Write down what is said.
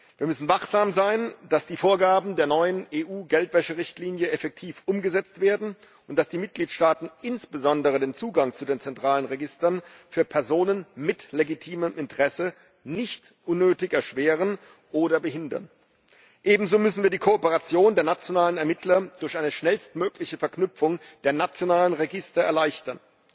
Wir müssen wachsam sein, dass die Vorgaben der neuen EU Geldwäscherichtlinie effektiv umgesetzt werden und dass die Mitgliedstaaten insbesondere den Zugang zu den zentralen Registern für Personen mit legitimem Interesse nicht unnötig erschweren oder behindern. Ebenso müssen wir die Kooperation der nationalen Ermittler durch eine schnellstmögliche Verknüpfung der nationalen Register erleichtern.